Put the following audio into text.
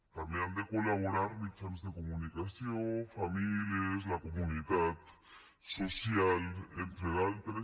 també hi han de col·laborar mitjans de comunicació famílies i la comunitat social entre d’altres